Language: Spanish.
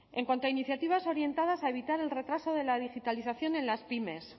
en cuanto a iniciativas orientadas a evitar el retraso de la digitalización en las pymes